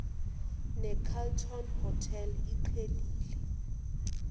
necarlton hotel iqhelile